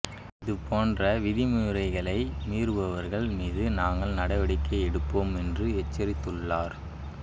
இது போன்ற விதிமுறைகளை மீறுபவர்கள் மீது நாங்கள் நடவடிக்கை எடுப்போம் என்று எச்சரித்துள்ளார்